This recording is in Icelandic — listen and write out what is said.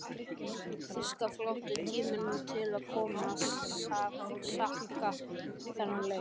Þýska flotanum þótti tími til kominn að skakka þennan leik.